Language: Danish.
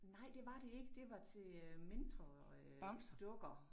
Nej det var det ikke det var til øh mindre øh dukker